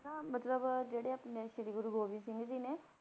ਨਾ ਮਤਲਬ ਜਿਹੜੇ ਆਪਣੇ ਸ੍ਰੀ ਗੁਰੂ ਗੋਬਿੰਦ ਸਿੰਘ ਜੀ ਨੇ